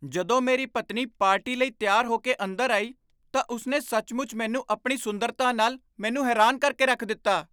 ਜਦੋਂ ਮੇਰੀ ਪਤਨੀ ਪਾਰਟੀ ਲਈ ਤਿਆਰ ਹੋ ਕੇ ਅੰਦਰ ਆਈ, ਤਾਂ ਉਸ ਨੇ ਸੱਚਮੁੱਚ ਮੈਨੂੰ ਆਪਣੀ ਸੁੰਦਰਤਾ ਨਾਲ ਮੈਨੂੰ ਹੈਰਾਨ ਕਰਕੇ ਰੱਖ ਦਿੱਤਾ।